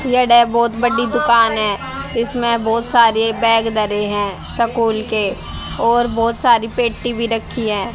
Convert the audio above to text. बहोत बड़ी दुकान है इसमें बहोत सारे बैग धरे हैं स्कूल के और बहोत सारी पेटी भी रखी है।